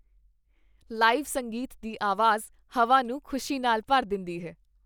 Live ਸੰਗੀਤ ਦੀ ਆਵਾਜ਼ ਹਵਾ ਨੂੰ ਖ਼ੁਸ਼ੀ ਨਾਲ ਭਰ ਦਿੰਦੀ ਹੈ।